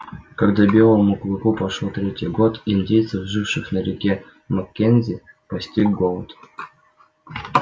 когда белому клыку пошёл третий год индейцев живших на реке маккензи постиг голод